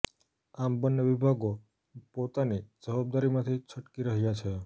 આમ બન્ને વિભાગો પોતાની જવાબદારીમાંથી છટકી રહ્યા છે